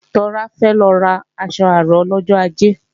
Tọ́lá fẹ́ lọ ra aṣọ àrán lọ́jọ ajé